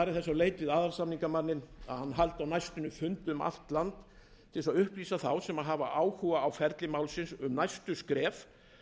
leit við aðalsamningamanninn að hann haldi á næstunni fundi um allt land til að upplýsa þá sem hafa áhuga á ferli málsins um næstu skref